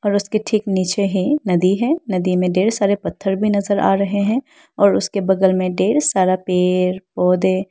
ओर उसके ठीक नीचे हैं नदी हैं नदी में डेर सारे पत्थर भी नजर आ रहे है और उसके बगल में डेर सारा पेड़ पोधै।